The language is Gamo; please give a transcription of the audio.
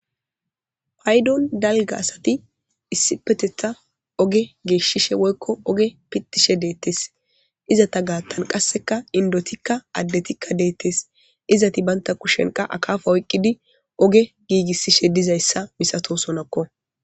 Daro daligga bessan assati ogge geshatetha nagishe woyikko pitishe deyesi. Izatta gathani qassi indotika addetika bettesi izati banitta kusheni qassi aqaba oyikidi oge giggisishe deyesa masatosonako.